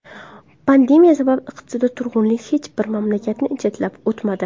Pandemiya sabab iqtisodiy turg‘unlik hech bir mamlakatni chetlab o‘tmadi.